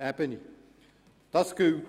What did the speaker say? Ebene repetieren.